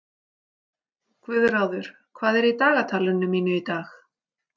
Guðráður, hvað er í dagatalinu mínu í dag?